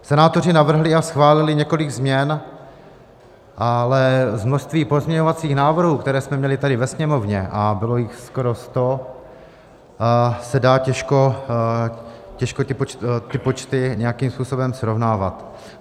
Senátoři navrhli a schválili několik změn, ale z množství pozměňovacích návrhů, které jsme měli tady ve Sněmovně, a bylo jich skoro 100, se dají těžko ty počty nějakým způsobem srovnávat.